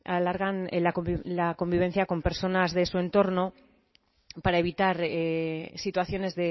alargan la convivencia con personas de su entorno para evitar situaciones